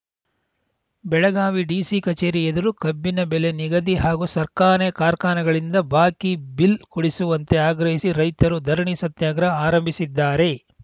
Belagavi DC ಕಚೇರಿ ಎದುರು ಕಬ್ಬಿನ ಬೆಲೆ ನಿಗದಿ ಹಾಗೂ ಸಕ್ಕರೆ ಕಾರ್ಖಾನೆಗಳಿಂದ ಬಾಕಿ ಬಿಲ್ ಕೊಡಿಸುವಂತೆ ಆಗ್ರಹಿಸಿ ರೈತರು ಧರಣಿ ಸತ್ಯಾಗ್ರಹ ಆರಂಭಿಸಿದ್ದಾರೆ